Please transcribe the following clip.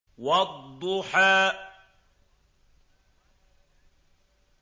وَالضُّحَىٰ